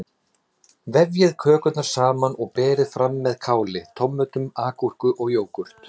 Vefjið kökurnar saman og berið fram með káli, tómötum, agúrku og jógúrt.